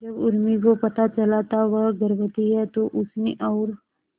जब उर्मी को पता चला था वह गर्भवती है तो उसने और